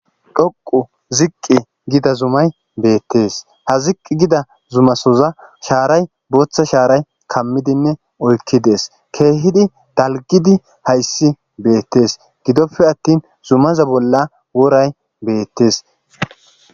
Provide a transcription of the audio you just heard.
DHoqu ziqqi gida zumay beettees ha ziqqi gida zumasoza shaaray booththa shaaray kammidinne oykki dees keehidi dalgidi hayssi beettees gidoppe attin zumaza bolla woray beettes.